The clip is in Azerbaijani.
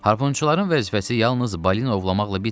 Harponçuların vəzifəsi yalnız balina ovlamaqla bitmir.